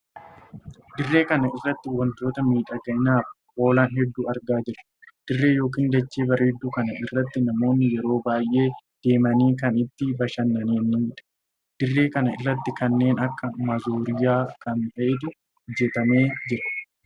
Dirree kana irratti wantoota miidhaginaaf oolan hedduu argaa jira. dirree ykn dachee bareedduu kana irratti namoonni yeroo baay'ee deemanii kan itti bashannaniidha. dirree kana irratti kanneen akka maazooriyaa kan taheetu hojjetamee jira.